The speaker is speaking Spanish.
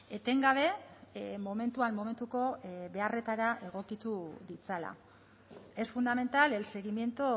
etengabe momentuan momentuko beharretara egokitu ditzala es fundamental el seguimiento